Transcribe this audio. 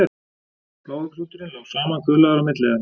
Blái klúturinn lá samankuðlaður á milli þeirra.